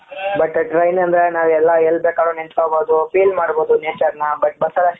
but train ಅಂದ್ರೆ ನಾವು ಎಲ್ಲ ಎಲ್ ಬೇಕಾದ್ರು ನಿಂತಕೊಳಬಹುದು feel ಮದ್ಬೋಹುದು nature ನ but ಬಸ್ ಅಲ್ಲಿ ಅಸ್ಟು